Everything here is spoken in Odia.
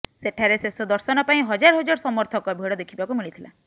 ସେଠାରେ ଶେଷ ଦର୍ଶନ ପାଇଁ ହଜାର ହଜାର ସମର୍ଥକ ଭିଡ ଦେଖିବାକୁ ମିଳିଥିଲା